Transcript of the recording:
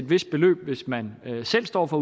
vist beløb hvis man selv står for